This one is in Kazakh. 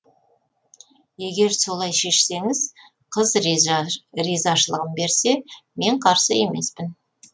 егер солай шешсеңіз қыз ризашылығын берсе мен қарсы емеспін